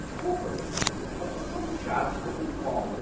Desculpa, eu eu sou eu sou, desculpa o incômodo.